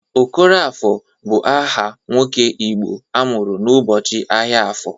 Okoroafọ bụ aha nwoke Igbo amụrụ n'ụbọchị ahịa afọ.